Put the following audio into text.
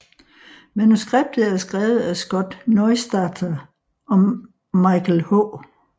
Manuskriptet er skrevet af Scott Neustadter og Michael H